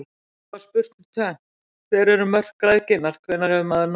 Upphaflega var spurt um tvennt: Hver eru mörk græðginnar, hvenær hefur maður nóg?